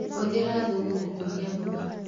Hũthĩra thumu gũkũria mboga.